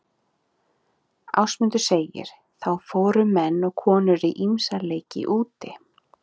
Ásmundur segir: Þá fóru menn og konur í ýmsa leiki úti.